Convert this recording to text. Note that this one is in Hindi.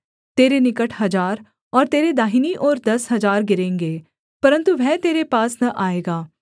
तेरे निकट हजार और तेरी दाहिनी ओर दस हजार गिरेंगे परन्तु वह तेरे पास न आएगा